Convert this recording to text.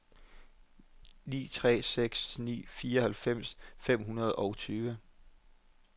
ni tre seks ni fireoghalvfems fem hundrede og tyve